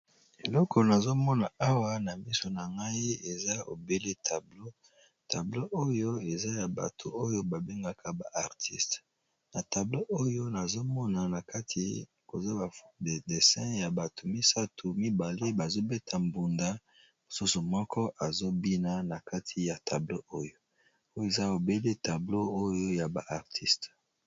Eloko nazomona awa na miso na ngai eza obele tableau tableau oyo eza ya bato oyo babengaka ba artiste na tableau oyo nazomona na kati koza de dessin ya Batu misatu mibale bazobeta mbonda mosusu moko azo bina na kati ya tableau oyo Oyo eza obele tableau ya b'artiste